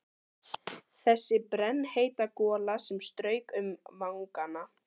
Þessi brennheita gola sem strauk um vangana!